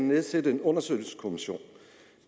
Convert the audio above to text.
nedsættes en undersøgelseskommission